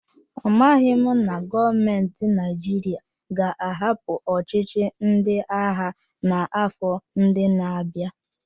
Amaghị m na gọọmentị Naịjirịa ga-ahapụ ọchịchị ndị agha n'afọ ndị na-abịa.